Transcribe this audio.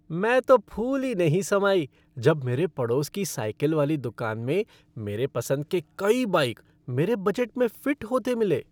मैं तो फूली नहीं समाई जब मेरे पड़ोस की साइकिल वाली दुकान में मेरे पसंद के कई बाइक मेरे बजट में फ़िट होते मिले।